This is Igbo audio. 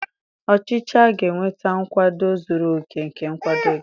Ọchịchị a ga-enweta nkwado zuru oke nke nkwado gị